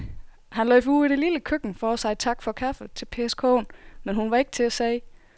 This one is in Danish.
Han løb ud i det lille køkken for at sige tak for kaffe til Pers kone, men hun var ikke til at se.